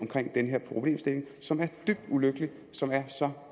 om den her problemstilling som er dybt ulykkelig og som er så